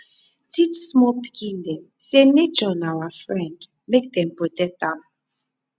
teach small pikin dem say nature na our friend make dem protect am